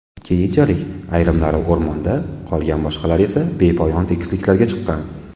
Keyinchalik, ayrimlari o‘rmonda qolgan, boshqalari esa bepoyon tekisliklarga chiqqan.